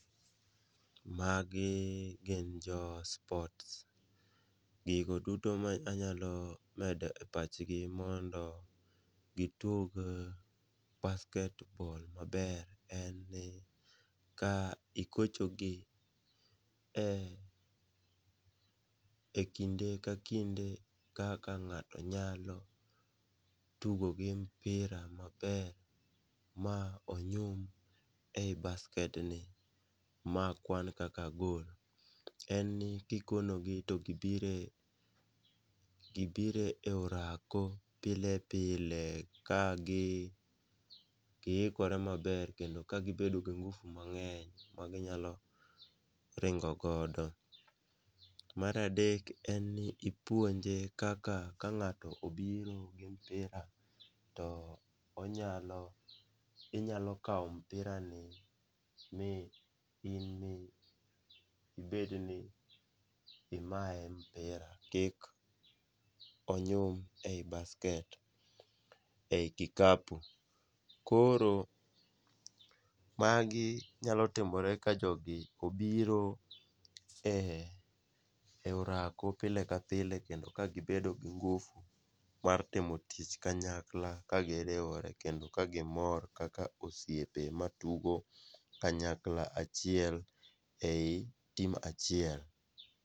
Magi gin jo sports, gigo duto manyalo medo e pachgi mondo gitug basket ball maber en ni ka igochogi e kinde ka kinde kaka ng'ato nyalo tugo gi mpira maber, ma onyum ei basket ni ma kwan kaka gol, en ni kikonogi to gibiro e orako, pile pile, ka giikore maber kendo ka gibedo gi ngufu mang'eny maginyalo ringo godo. Mar adek en ni ipuonje kaka ka ng'ato obiro gi mpira, to inyalo kawo mpirani mi in mibed ni imaye mpira, kik onyum ei basket, ei kikapu. Koro magi nyalo timore ka jogi obiro e orako pile ka pile kando ka gibedo gi ngufu mar timo tich kanyakla kagiriwore kendo ka gimor kaka osiepe matugo kanyakla achiel ei team achiel.